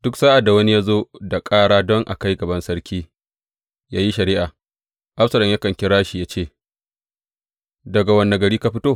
Duk sa’ad da wani ya zo da ƙara don a kai gaban sarki yă yi shari’a, Absalom yakan kira shi yă ce, Daga wane gari ka fito?